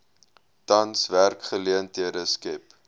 tans werksgeleenthede skep